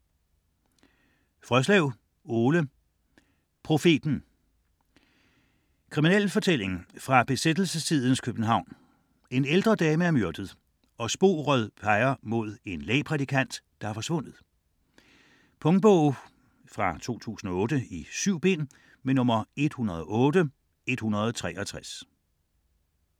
Frøslev, Ole: Profeten Krimi fra besættelsestidens København, en ældre dame er myrdet og sporet peger mod en lægprædikant, der er forsvundet. Punktbog 108163 2008. 7 bind.